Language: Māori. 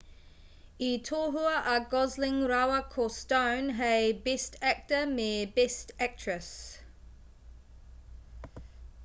i tohua a gosling rāua ko stone hei best actor me best actress